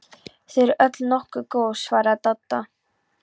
Þau eru öll nokkuð góð svaraði Dadda.